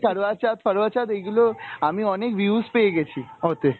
কারবা চৌত ফারবা চৌত এইগুলো আমি অনেক views পেয়ে গেছি ওতে।